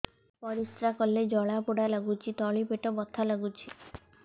ପରିଶ୍ରା କଲେ ଜଳା ପୋଡା ଲାଗୁଚି ତଳି ପେଟ ବଥା ଲାଗୁଛି